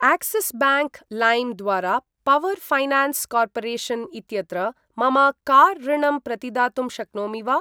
Axis bank लैम् द्वारा power finance corporation इत्यत्र मम कार् ऋणम् प्रतिदातुं शक्नोमि वा?